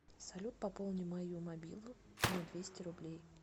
салют пополни мою мобилу на двести рублей